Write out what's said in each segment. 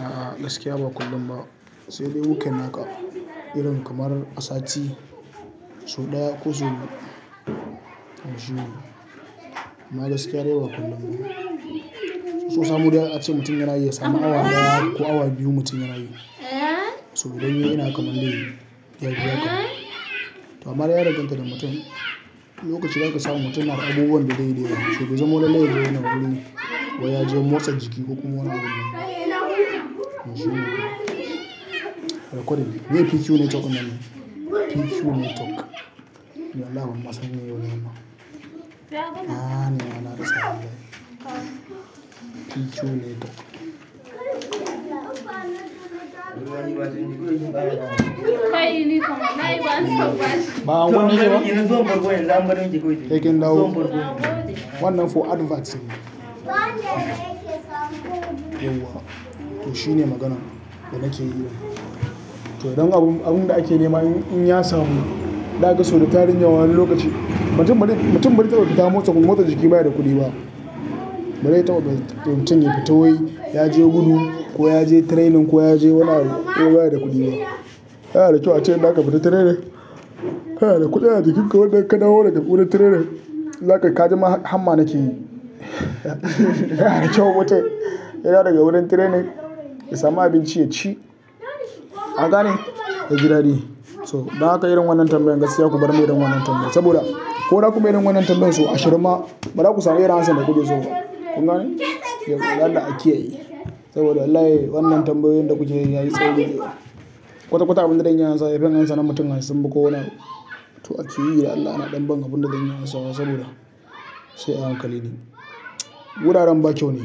A'a gaskiya ba kullum ba, sai dai weekend haka irin kamar a sati sau ɗaya ko sau biyu. Amma gaskiya dai ba kullum ba. So samu dai ace mutum yana iya samun awa ɗaya ko awa biyu mutum yana yi. Saboda yana kamar dai ya biya ka. To amma dai ya danganta da mutum, wani lokaci zaka tadda mutum na da abubuwan da zai yi da yawa. Saboda bai zamo na lallai yana wuri ko yaje motsa jiki kuma wani yana juyin. To ko ɗaya ne PQ ne to kenan ne. PQ ne tok. Allahumma sanyi yayi nama. A'a na na rasa hannu. PQ ne tok. Ba'a gwammace ba? He can't help. Wannan for advert ne. Yauwa. To shine maganan da nake yi. To don abun abun da ake nema in ya samu, zaka ga so da tarin yawa wani lokaci, mutum bazai mutum bazai taɓa fita motsa motsa jiki ba in baya da kuɗi ba. Bazai taɓa mutum yafi ta wai yaje gudu ko yaje training ko yaje wani abu. Ba ya da kuɗi ba. Yana da kyau ace in zaka fita training kana da kuɗi a jikin ka wanda ka dawo daga wurin trainer, za ka kaji ma hamma nake yi. Yana da kyau wata yi. Yana daga wurin trainer ya sami abinci ya ci. An gane? Gida de. So, dan haka irin wannan tambayan gaskiya ku bar min irin wannan tambaya. Saboda ko na ku bai irin wannan tambayan so ashirin ma, bari ku samu irin haka sanda ku bi so ba. Kun gane? Yawwa toh don Allah a kiyaye. Saboda wallahi wannan tambayoyin da kuke yi yayi tsauri. Kwata-kwata abin da zan ansa, zan ansa na mutum hansu sun bi ko wane abu. To ake yi da Allah na ɗan ban abin da zan iya ansawa ne saboda sai a hankali ne. Wuraren ba kyau ne.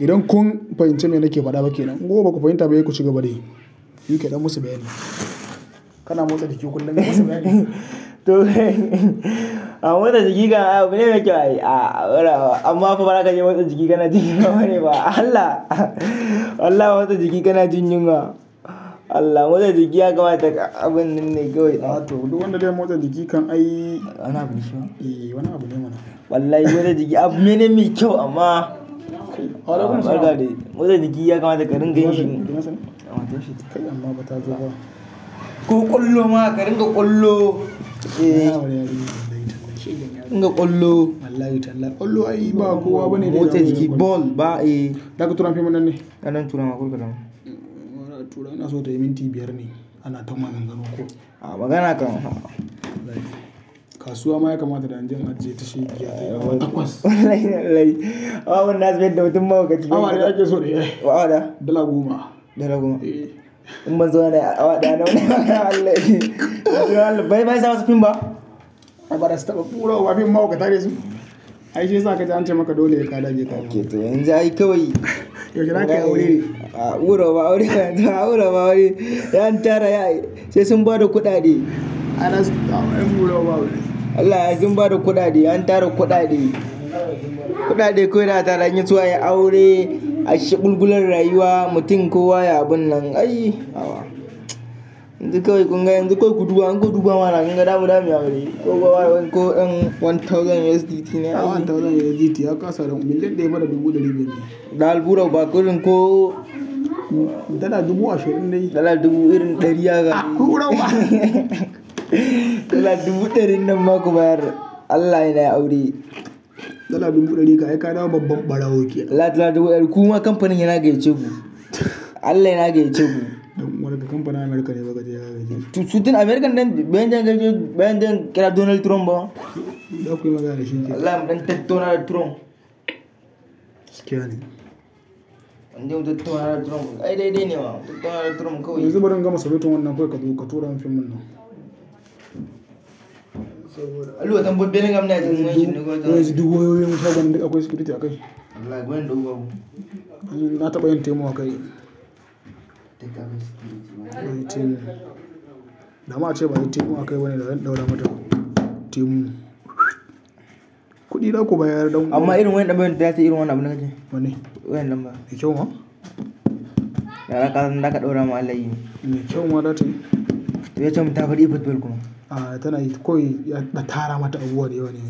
Idan kun fahimci me nake faɗa ba kenan, in kuma baku fahimta ba sai ku cigaba da yi. Ka dan musu bayani. Kana motsa jiki kullum musu bayani. To a motsa jiki abu ne mai kyau. Amma fa baza ka je motsa jiki kana jin yunwa bane ba. Allah! Allah motsa jiki kana jin yunwa. Allah motsa jiki ya kamata abun ne mai kyau. A to duk wanda zai motsa jiki kan ai Ana abinci fa? Eh, wani abune mana. Wallahi motsa jiki abu ne mai kyau amma barka dai motsa jiki ya kamata ka ringa yin shi. Amma bata zuba. Ko kwallo ma ka ringa kwallo. In ka ƙollo. Wallahi tallafi ƙollo ai ba kowa bane ya iya. Motsa jiki ball ba yi. Zaka tura man fim dinnan ne? Gani zan tura ma kar ka damu. Tura ina so tayi minti biyar ne ana ta maganganu ko. A magana kan. Kasuwa ma ya kamata da inje in aje ta shegiya ta yi awa takwas. Wallahi dan Allah. Amma abun nasu zai mai da mutum mahaukaci. Mi ake so ne? Wa awa ɗaya? Dala goma. Dala goma? Eh. In bazawa ne awada nawa Allahji. Bari bari insa masu fim ba? A bari su taba ɓura wa fim mahaukata nai su. Ai shi yasa ka ce an ce maka dole ka dage ka nemi kuɗi. Ok to yanzu ai kawai. Gidan ake aure. A ɓura ma aure. A ɓura ma aure. An tara ya yi. Sai sun ba da kuɗaɗe. Ana ɓura wa aure. Allah ya sun ba da kuɗaɗe. An tara kuɗaɗe. Kuɗaɗe kawai za'a tara in yaso a yi aure. Ai shagul gulan rayuwa. Mutum ko waye abun nan. Ai! Hawa. In dukai kun gani in dukai ku duba an ku duba mana an gina gida abu ɗaya miya aure. Ko an yi one thousand USDT ne ai. One thousand USDT aka kasa. Mutum ɗaya bara dubu ɗari biyu ne. Da alɓura bakalin ko Dala dubu ashirin ne. Dala dubu ɗarin ɗari aka A ƙuruwa. Dala dubu ɗarin nan ma ku bayar. Allah yana aure. Dala dubu ɗari ka aika na babban ɓarawo ki ya. Allah dala dubu ɗari kuma kamfanin hai na gayyace ku. Allah yana gayyace mu. Kamfana Amurka ne ba gaje ya gayyace mu. Sutin Amurka ɗan, ban jan gajin ban jan kira Donald Trump ba. Daku ya magana da shi dai. Allah ban jan Donald Trump. Kyal ne. Ban jan Donald Trump. Ai dai dai ne wa. Donald Trump kawai. Yanzu bari in gama submitin wanan kawai ka tura man din nan. Allahu akam buɗe ni gam nan yayi. Yanzu ɗigo yayi seven akwai security a kai. Allah gani ɗauko. Na taɓa yin teemu a kai. Na ma a ce ba a yi teemu a kai bane da zan ɗaura mata teemu. Kuɗi naku ba ya yaɗauko. Amma irin wayan ɗan bayin ta ya ci irin wannan abun nake yi. Wane? Wayan ɗan bayin. Yi kyau ma? Da aka ɗaura ma Allah ya yi min. Yi kyau ma data yi. Me kyau mu tafi ɗebo belkono. A tana yi kawai ya ɗa tara mata abubuwa dayawa ne.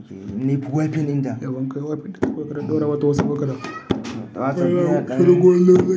Ok, ni kayi wipe din ta. Eh in ka wipe ɗin ta kuka ɗaura mata wasu bakara. Wasan miya ƙanan.